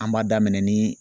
An b'a daminɛ nii